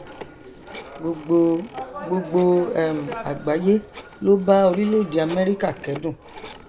gbogbo gbogbo um àgbáyé ló bá orilẹèdè amẹrika kẹdùn